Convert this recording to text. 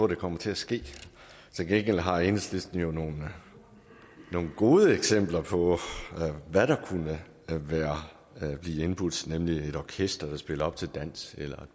det kommer til at ske til gengæld har enhedslisten jo nogle gode eksempler på hvad der kunne blive indbudt nemlig et orkester der spiller op til dans eller